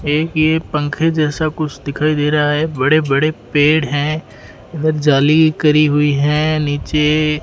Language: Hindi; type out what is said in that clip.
एक ये पंखे जैसा कुछ दिखाई दे रहा है बड़े-बड़े पेड़ हैं इधर जाली करी हुईं हैं नीचे --